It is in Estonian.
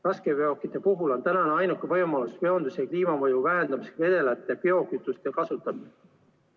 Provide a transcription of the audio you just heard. Raskeveokite puhul on ainuke võimalus veonduse kliimamõju vähendada vedela biokütuse kasutamine.